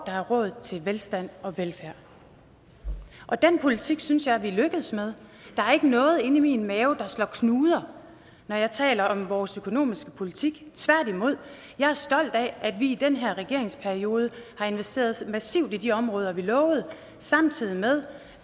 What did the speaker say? er råd til velstand og velfærd og den politik synes jeg vi er lykkedes med der er ikke noget inde i min mave der slår knuder når jeg taler om vores økonomiske politik tværtimod jeg er stolt af at vi i den her regeringsperiode har investeret massivt i de områder vi lovede samtidig med